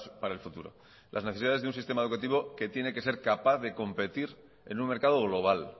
para el futuro las necesidades de un sistema educativo que tiene que ser capaz de competir en un mercado global